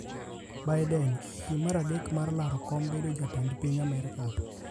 Biden, e piem mar adek mar ralo kom bedo jatend piny Amerka,